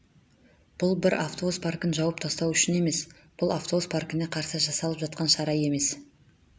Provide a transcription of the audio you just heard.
бұл бір автобус паркін жауып тастау үшін емес бұл автобус паркіне қарсы жасалып жатқан шара емес